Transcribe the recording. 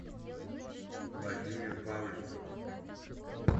владимир павликов